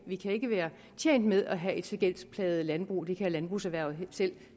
vi kan ikke være tjent med have et så gældsplaget landbrug det kan landbrugserhvervet